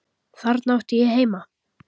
Þarna átti ég heima.